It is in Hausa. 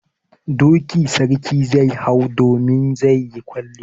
Doki sarki zai hau domin zai yi kwalliya.